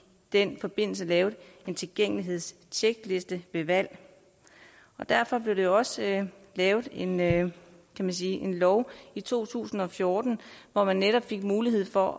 den forbindelse lavet en tilgængelighedstjekliste ved valg derfor blev der også lavet en lavet en lov i to tusind og fjorten hvor man netop fik mulighed for